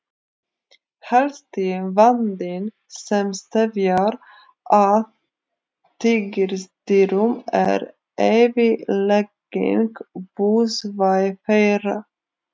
Helsti vandinn sem steðjar að tígrisdýrum er eyðilegging búsvæða þeirra.